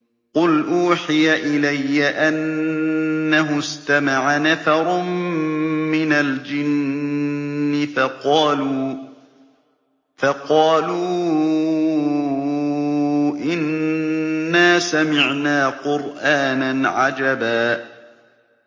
قُلْ أُوحِيَ إِلَيَّ أَنَّهُ اسْتَمَعَ نَفَرٌ مِّنَ الْجِنِّ فَقَالُوا إِنَّا سَمِعْنَا قُرْآنًا عَجَبًا